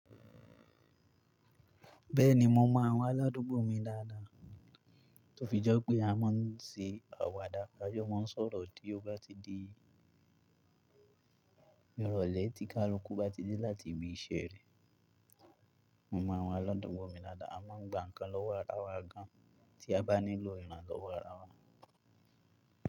Bẹ́ẹ̀ni mo mọ àwọn aládùúgbò mi dáadáa, tó fi jẹ́ pé a máa ń ṣe àwàdà 'ajó, a máa ń sọ̀rọ̀ tí ó bá ti di ìrọ̀lẹ́ tí ká lu kú bá ti dé láti ibi iṣẹ́ rẹ̀. Mo mọ àwọn aládùúgbò mi dáadáa, a máa ń gba nǹkan lọ́wọ́ ara wa gan, tí a bá nílò iran a lọwo ara wa.